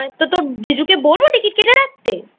তা তোর জিজুকে বলব Ticket কেটে রাখতে?